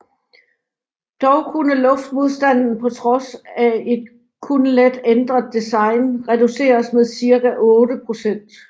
Dog kunne luftmodstanden på trods af et kun let ændret design reduceres med cirka otte procent